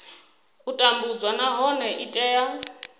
u tambudzwa nahone i tea